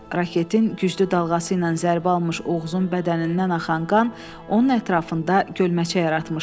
Raketin güclü dalğası ilə zərbə almış Oğuzun bədənindən axan qan onun ətrafında gölməçə yaratmışdı.